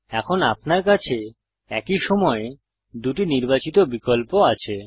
এখন আপনার কাছে একই সময়ে দুটি নির্বাচিত বিকল্প আছে